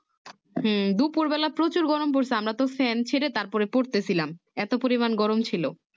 হম দুপুর বেলা প্রচুর গরম পড়ছে আমরা তো Fan ছেড়ে তারপরে পড়তেছিলাম এত পরিমান গরম ছিল